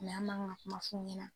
an man kan ka kuma f'u ɲɛna